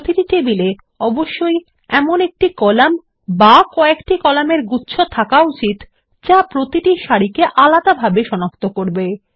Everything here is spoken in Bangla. প্রতিটি টেবিলে অবশ্যই এমন একটি কলাম বা ক একটি কলাম এর গুচ্ছ থাকা উচিত যা প্রতিটি সারিকে আলাদাভাবে সনাক্ত করবে